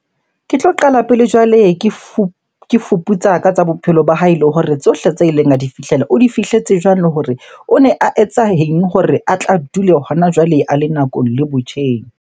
Ke tlo qala pele jwale ke fuputsa ka tsa bophelo ba hae le hore tsohle tsa ileng a di fihlela, o di fihletse jwang? Le hore one a etsa eng hore a tla dule hona jwale a le nakong le botjheng?